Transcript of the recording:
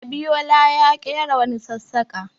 Abiyola ya ƙera wani sassaƙa.